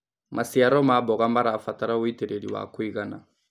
Macĩaro ma mboga marabatara ũĩtĩrĩrĩ wa kũĩgana